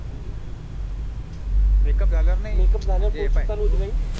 Make up झाल्यावर नाही